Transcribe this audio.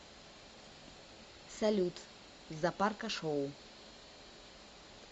салют запарка шоу